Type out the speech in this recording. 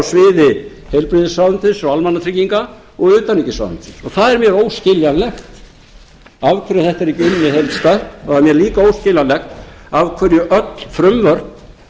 á sviði heilbrigðisráðuneytis og almannatrygginga og utanríkisráðuneytis og það er mér óskiljanlegt af hverju þetta er ekki unnið heildstætt og það er líka óskiljanlegt af hverju öll frumvörp